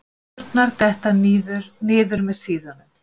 Hendurnar detta niður með síðunum.